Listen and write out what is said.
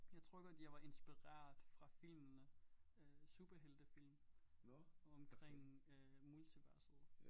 Jeg tror godt jeg var inspireret fra filmene øh superheltefilm omkring øh multiverset